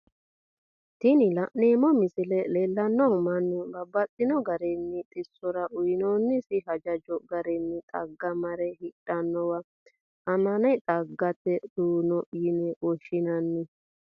Tini la'neemo misile leellishanohu mannu babaxxino garinni xisosirra uyyinonnisi hajajo garinni xaga mare hidhanow amen xaa gate duu'no yine woshinanni